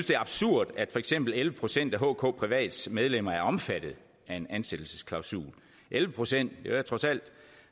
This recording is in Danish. det er absurd at for eksempel elleve procent af hkprivats medlemmer er omfattet af en ansættelsesklausul elleve procent er trods alt